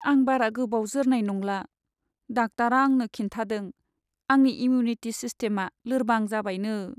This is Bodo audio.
आं बारा गोबाव जोरनाय नंला। डाक्टारा आंनो खिन्थादों आंनि इमिउनिटि सिस्टेमआ लोरबां जाबायनो।